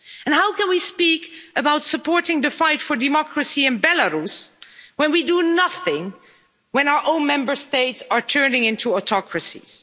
How can we speak about supporting the fight for democracy in Belarus when we do nothing when our own Member States are turning into autocracies?